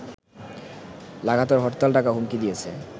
লাগাতর হরতাল ডাকা হুমকি দিয়েছে